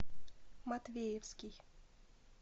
матвеевский